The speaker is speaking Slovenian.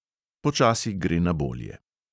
Počasi gre na bolje.